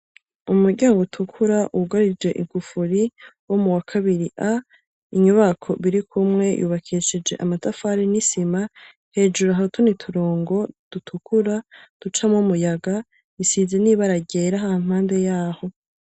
Umuryango utukura wugarije igufuri wo muwakabiri A, inyubako birikumwe yubakishije amatafari n'isima, hejuru hari utundi turongo dutukura ducamwo umuyaga, isize n'ibara ryera hampande yaho.